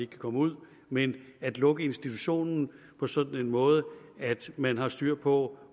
kan komme ud men at lukke institutionen på sådan en måde at man har styr på